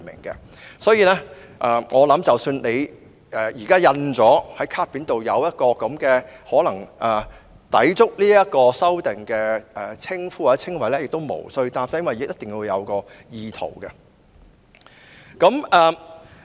因此，我相信即使現時卡片上已印有可能抵觸有關修訂的名稱或稱謂也不必擔心，因為還要視乎意圖這因素。